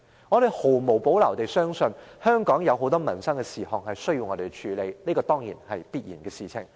我們毫無保留地相信，香港有很多民生事項需要我們處理，這是必然的事。